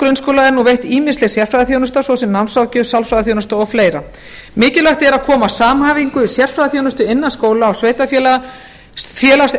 grunnskóla er nú veitt ýmisleg sérfræðiþjónusta svo sem námsráðgjöf sálfræðiþjónusta og fleira mikilvægt er að koma samhæfingu í sérfræðiþjónustu innan skóla og sveitarfélaga félagsþjónustu